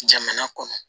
Jamana kɔnɔ